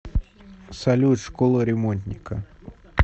салют школа ремонтника